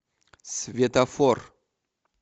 светофор